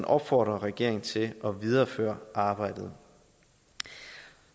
opfordre regeringen til at videreføre arbejdet